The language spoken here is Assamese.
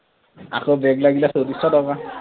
আকৌ back লাগিলে চৌত্ৰিছশ টকা